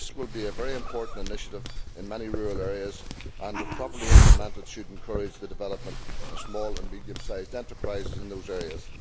This will be a very important initiative in many rural areas and, if properly implemented, should encourage the development of small and medium sized enterprises in those areas.